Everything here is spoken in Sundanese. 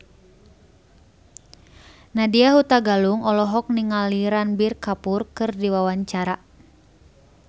Nadya Hutagalung olohok ningali Ranbir Kapoor keur diwawancara